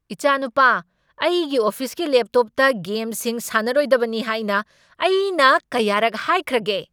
ꯏꯆꯥꯅꯨꯄꯥ, ꯑꯩꯒꯤ ꯑꯣꯐꯤꯁꯀꯤ ꯂꯦꯞꯇꯣꯞꯇ ꯒꯦꯝꯁꯤꯡ ꯁꯥꯟꯅꯔꯣꯏꯗꯕꯅꯤ ꯍꯥꯏꯅ ꯑꯩꯅ ꯀꯌꯥꯔꯛ ꯍꯥꯏꯈ꯭ꯔꯒꯦ?